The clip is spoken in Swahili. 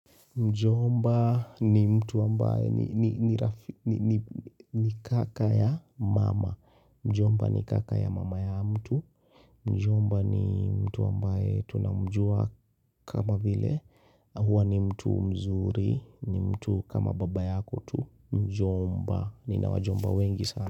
Mjomba ni mtu ambaye ni ni kaka ya mama, mjomba ni kaka ya mama ya mtu, mjomba ni mtu ambaye tunamjua kama vile, huwa ni mtu mzuri, ni mtu kama baba yako tu, mjomba nina wajomba wengi sana.